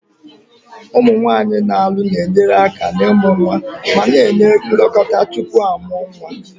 Ụmụ nwanyị na-alụ na-enyere aka n'ịmụ nwa ma na-enye nlekọta tupu a mụọ nwa.